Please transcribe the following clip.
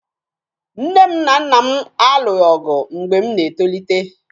Nne m na Nna m alụghị ọgụ mgbe m na-etolite